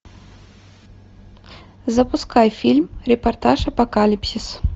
запускай фильм репортаж апокалипсис